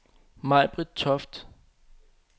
Majbritt Toft